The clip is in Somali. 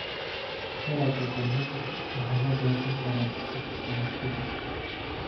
Dalagga galleyda waxa la goosan karaa saddex bilood ka dib.